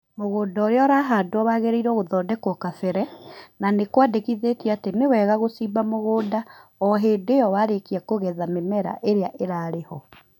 Mũgũnda ũrĩa ũrahandwo wagĩrĩirwo gũthondekwo kabere, na nĩkwandĩkithĩtio atĩ niwega gũcimba mũgũnda ohĩndĩ ĩo warĩkia kũgetha mĩmera ĩrĩa ĩrarĩ ho